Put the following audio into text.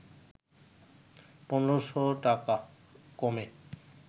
১৫শ’ টাকা কমে